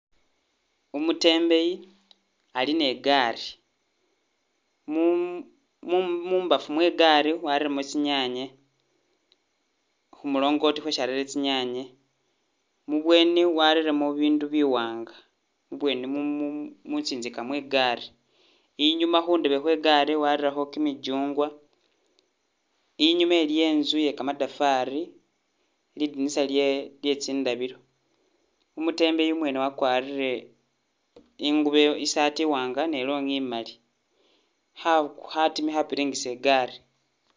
Umutembeyi ali ne igaali, mu- mu- mumbafu mwe igaali wareyemo tsi nyanye khu mulongoti khwesi arete tsi nyanye, mubweni wareyemo bibindu biwanga, mubweni- mutsinzika mwe igaali, inyuma khundebe khwe igaali wareyekho kyimichungwa, inyuma iliyo intsu iye kamatafari, lidinisa lye tsindabilo, umutembeyi umwene wakwarire ingubo isaati iwanga ne longhi imali kha- khatima- khapiringisa igaali